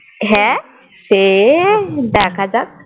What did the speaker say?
সে দেখা যাক